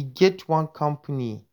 e get one company